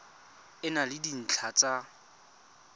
e na le dintlha tsa